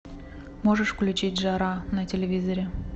можешь включить жара на телевизоре